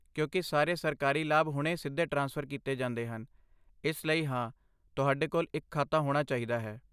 ਕਿਉਂਕਿ ਸਾਰੇ ਸਰਕਾਰੀ ਲਾਭ ਹੁਣ ਸਿੱਧੇ ਟ੍ਰਾਂਸਫਰ ਕੀਤੇ ਜਾਂਦੇ ਹਨ, ਇਸ ਲਈ, ਹਾਂ, ਤੁਹਾਡੇ ਕੋਲ ਇੱਕ ਖਾਤਾ ਹੋਣਾ ਚਾਹੀਦਾ ਹੈ।